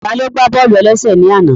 Taló gbá bọ́ọ̀lù-ẹlẹ́sẹ̀ ní àná?